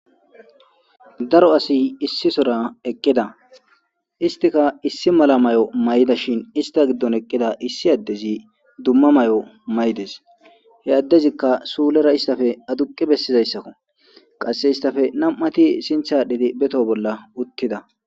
daro asi issi sora eqqida istika issi mala may7o may7ida shin ista giddon eqqida issi addezi dumma may7o may7des he addezikka suulera issafe aduqi bessizayssakko qasse istafe nam7ati sinthaadhidi beto bolla uttida